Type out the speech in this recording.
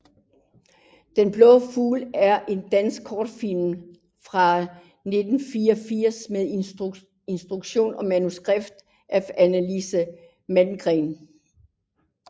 Den blå fugl er en dansk kortfilm fra 1984 med instruktion og manuskript af Annelise Malmgren